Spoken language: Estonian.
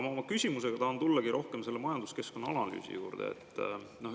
Ma oma küsimusega tahangi tulla rohkem selle majanduskeskkonna analüüsi juurde.